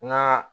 N ka